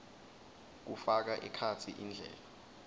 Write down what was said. kufaka ekhatsi indlela